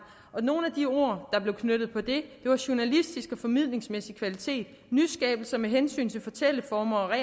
nogle af de ord der blev knyttet på det var journalistisk og formidlingsmæssig kvalitet nyskabelser med hensyn til fortælleformer